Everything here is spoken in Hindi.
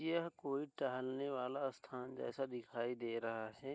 यह कोई टहलने वाला स्थान जैसा दिखाई दे रहा है।